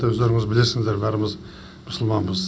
өздеріңіз білесіздер бәріміз мұсылманбыз